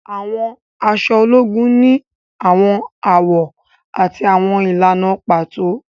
Àwọn aṣọ ológùn ni awọn awọ ati awọn ìlànà pàtó